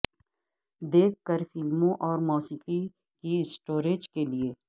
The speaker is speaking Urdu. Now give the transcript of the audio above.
دیکھ کر فلموں اور موسیقی کی سٹوریج کے لئے